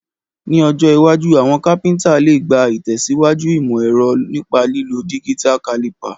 Ní ojó iwájú, àwon carpenter le gbà ìtẹ̀síwájú ìmò ẹ̀ro nípa lílo digital caliper